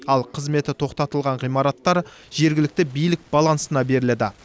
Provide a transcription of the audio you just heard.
ал қызметі тоқтатылған ғимараттар жергілікті билік балансына беріледі